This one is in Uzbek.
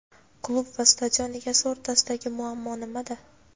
Klub va stadion egasi o‘rtasidagi muammo nimada?.